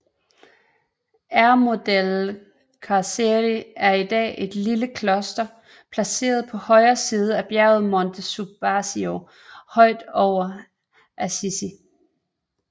Eremo delle Carceri er i dag et lille kloster placeret på siden af bjerget Monte Subasio højt over Assisi